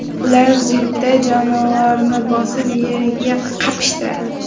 Ular jipda jonivorni bosib, yerga qapishtiradi.